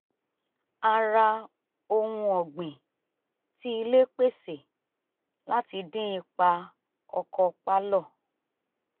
a ra ohun ọ̀gbìn tí ilé pèsè láti dín ipa ọkọ̀ pálọ̀